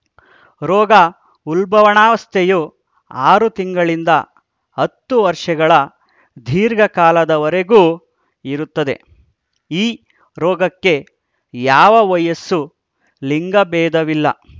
ರೋಗ ಉಲ್ಬಣಾವಸ್ಥೆಯು ಆರು ತಿಂಗಳಿನಿಂದ ಹತ್ತು ವರ್ಷಗಳ ದೀರ್ಘಕಾಲದವರೆಗೂ ಇರುತ್ತದೆ ಈ ರೋಗಕ್ಕೆ ಯಾವ ವಯಸ್ಸು ಲಿಂಗಬೇಧವಿಲ್ಲ